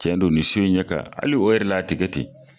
Cɛn don ni so in ɲɛ ka hali o yɛrɛ la a tikɛ ten.